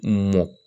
Mɔ